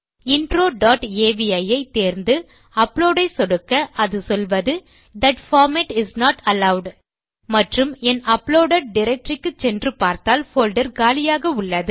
intro dot avi ஐ தேர்ந்து upload ஐ சொடுக்க அது சொல்வது that format is not allowed மற்றும் என் அப்லோடெட் டைரக்டரி க்கு சென்று பார்த்தால் போல்டர் காலியாக உள்ளது